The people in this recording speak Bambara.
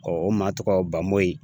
o maa tɔgɔ Bamoyi.